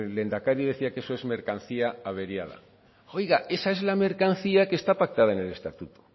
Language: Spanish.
lehendakari decía que eso es mercancía averiada oiga esa es la mercancía que está pactada en el estatuto